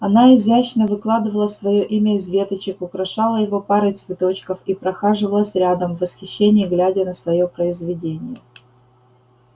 она изящно выкладывала своё имя из веточек украшала его парой цветочков и прохаживалась рядом в восхищении глядя на своё произведение